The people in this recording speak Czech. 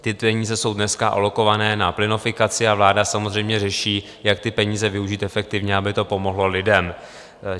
Ty peníze jsou dneska alokované na plynofikaci a vláda samozřejmě řeší, jak ty peníze využít efektivně, aby to pomohlo lidem.